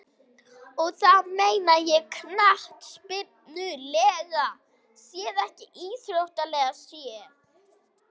Og þá meina ég knattspyrnulega séð eða íþróttalega séð?